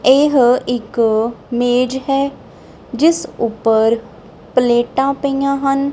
ਇਹ ਇਕ ਮੇਜ਼ ਹੈ ਜਿਸ ਉੱਪਰ ਪਲੇਟਾਂ ਪਈਆਂ ਹਨ।